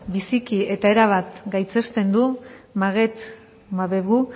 biziki eta erabat gaitzesten du maguette mbeugou